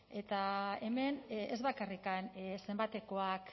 eta hemen ez bakarrik zenbatekoak